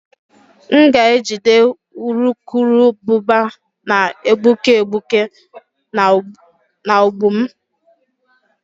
M ga-ejide urukurubụba na-egbuke egbuke na ụgbụ m